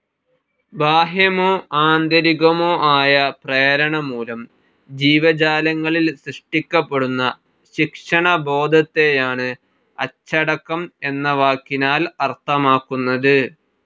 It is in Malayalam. ബാഹ്യമോ ആന്തരികമോ ആയ പ്രേരണമുലം ജീവജാലങ്ങളിൽ സൃഷ്ടിക്കപ്പെടുന്ന ശിക്ഷണബോധത്തെയാണ് അച്ചടക്കം എന്ന വാക്കിനാൽ അർഥമാക്കുന്നത്.